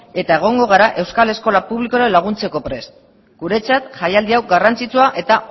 eta egongo gara euskal eskola publikoari laguntzeko prest guretzat jaialdi hau garrantzitsua eta